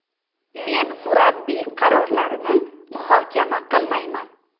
Men murabbiy qarorlarini muhokama qilmayman.